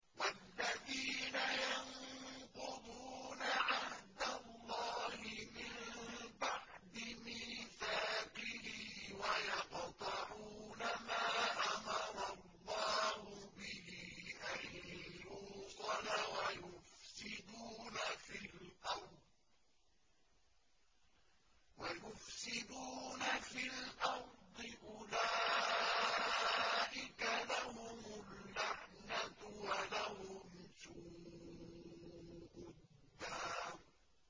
وَالَّذِينَ يَنقُضُونَ عَهْدَ اللَّهِ مِن بَعْدِ مِيثَاقِهِ وَيَقْطَعُونَ مَا أَمَرَ اللَّهُ بِهِ أَن يُوصَلَ وَيُفْسِدُونَ فِي الْأَرْضِ ۙ أُولَٰئِكَ لَهُمُ اللَّعْنَةُ وَلَهُمْ سُوءُ الدَّارِ